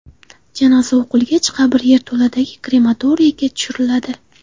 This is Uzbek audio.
Janoza o‘qilgach, qabr yerto‘ladagi krematoriyga tushiriladi.